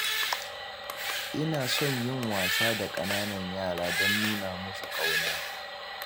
Ina son yin wasa da ƙananan yara don nuna musu ƙauna.